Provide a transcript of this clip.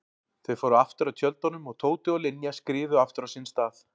Þau fóru aftur að tjöldunum og Tóti og Linja skriðu aftur á sinn stað.